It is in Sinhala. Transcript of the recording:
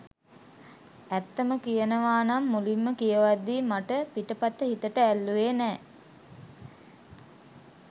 ඇත්තම කියනවනම් මුලින්ම කියවද්දි මට පිටපත හිතට ඇල්ලුවෙ නෑ.